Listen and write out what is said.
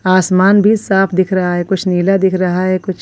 आसमान भी साफ दिख रहा है कुछ नीला दिख रहा है कुछ--